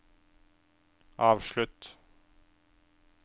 avslutt